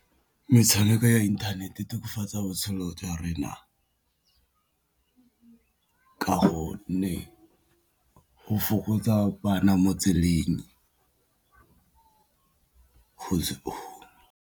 Metshameko ya internet-e tokafatsa botshelo jwa rona ka go nne go fokotsa bana mo tseleng .